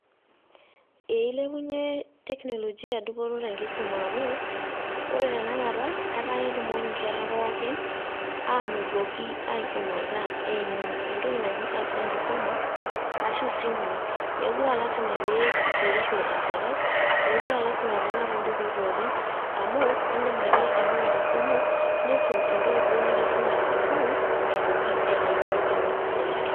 Ee ilepunye teknolojia dupoto tenkisuma amuu, ore tanakata etaa ketumoki inkera pookin, ainotoki aisumata eimu entoki naji apps enkisuma, ashu ismui. Mekure alasima pe igerisho enkerai, mekure alasima pe inap ibukui pookin, amu iidim ake aing'ura tesimu, niisum entoki duo nikisumaki tesukuul, aitoki aitayiolo keon saidi.